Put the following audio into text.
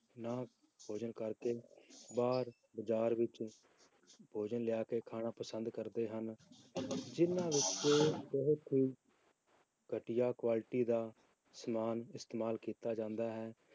ਨਾ ਭੋਜਨ ਕਰਕੇ ਬਾਹਰ ਬਾਜ਼ਾਰ ਵਿੱਚ ਭੋਜਨ ਲਿਆ ਕੇ ਖਾਣਾ ਪਸੰਦ ਕਰਦੇ ਹਨ, ਜਿੰਨਾਂ ਵਿੱਚ ਬਹੁਤ ਹੀ ਘਟੀਆ ਕੁਆਲਟੀ ਦਾ ਸਮਾਨ ਇਸਤੇਮਾਲ ਕੀਤਾ ਜਾਂਦਾ ਹੈ,